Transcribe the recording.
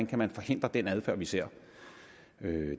kan forhindre den adfærd vi ser